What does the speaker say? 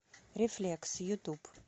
рефлекс ютуб